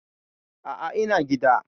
A'a, ina gida.